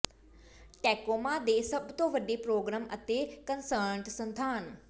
Tacoma ਦੇ ਸਭ ਤੋਂ ਵੱਡੇ ਪ੍ਰੋਗਰਾਮ ਅਤੇ ਕਨਸਰਟ ਸਥਾਨ